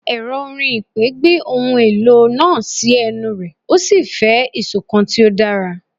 Ẹrọ orin ipè gbe ohun elo naa si ẹnu rẹ o si fẹ isokan ti o dara